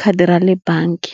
khadi ra le bangi.